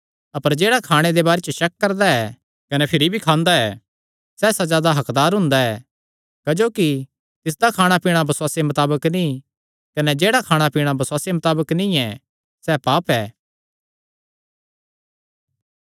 अपर जेह्ड़ा खाणे दे बारे शक करदा ऐ कने भिरी भी खांदा ऐ सैह़ सज़ा दा हक्कदार हुंदा ऐ क्जोकि तिसदा खाणा पीणा बसुआसे मताबक नीं कने जेह्ड़ा खाणा पीणा बसुआसे मताबक नीं ऐ सैह़ पाप ऐ